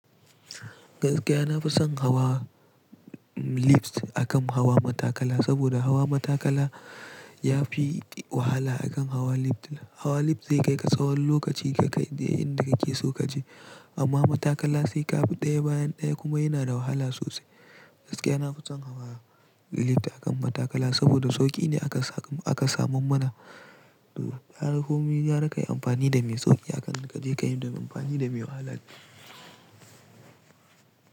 Gaskiya na fi son hawa lift akan hawa matakala, saboda hawa matakala ya fi wahala akan hawa lift. Hawa lift zai kai ka tsawon lokaci ka kai inda kake so kaje, amma matakala sai ka bi ɗaya bayan ɗaya kuma yana da wahala sosai. Gaskiya nafi son hawa lift akan matakala saboda sauƙi ne aka samu mana. Gara komi gara kai amfanida me sauƙi akan ka je ka yi amfani da me wahala.